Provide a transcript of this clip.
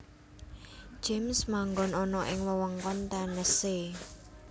James manggon ana ing wewengkon Tennessee